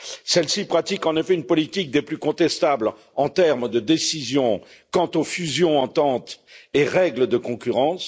Celle ci pratique, en effet, une politique des plus contestables en termes de décisions quant aux fusions, ententes et règles de concurrence.